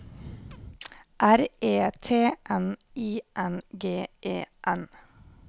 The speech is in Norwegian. R E T N I N G E N